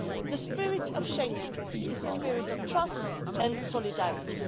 The spirit of Schengen is a spirit of trust and solidarity.